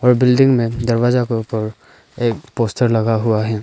ओर building में दरवाजा के ऊपर एक पोस्टर लगा हुआ है।